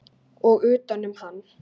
Og utanum hann.